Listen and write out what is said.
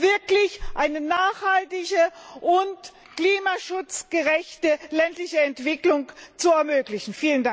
wirklich eine nachhaltige und klimaschutzgerechte ländliche Entwicklung zu ermöglichen!